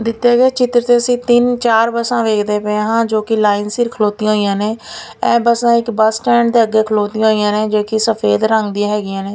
ਦਿੱਤੇ ਗਏ ਚਿਤ੍ਰ ਤੇ ਅੱਸੀ ਤਿੰਨ ਚਾਰ ਬੱਸਾਂ ਵੇਖਦੇ ਪਏ ਹਾਂ ਜੋਕਿ ਲਾਈਨ ਸਿਰ ਖਲੋਤਿਆਂ ਹੋਇਆਂ ਨੇ ਏਹ ਬੱਸਾਂ ਇੱਕ ਬੱਸ ਸਟੈਂਡ ਦੇ ਅੱਗੇ ਖਲੋਤਿਆਂ ਹੋਇਆਂ ਨੇਂ ਜੋਕਿ ਸਫ਼ੇਦ ਰੰਗ ਦਿਆਂ ਹੈਗੀਆਂ ਨੇਂ।